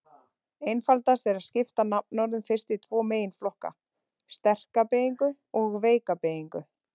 Einfaldast er að skipta nafnorðum fyrst í tvo meginflokka: sterka beygingu og veika beygingu.